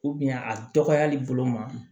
a dɔgɔyali bolo ma